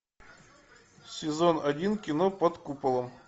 сезон один кино под куполом